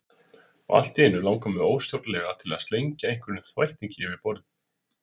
Og allt í einu langar mig óstjórnlega til að slengja einhverjum þvættingi yfir borðið.